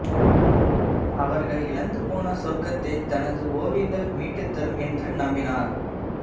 அவர்கள் இழந்து போன சொர்க்கத்தை தனது ஒவியங்கள் மீட்டு தரும் என்று நம்பினார்